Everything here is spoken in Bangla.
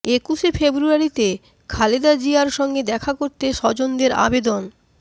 একুশে ফেব্রুয়ারিতে খালেদা জিয়ার সঙ্গে দেখা করতে স্বজনদের আবেদন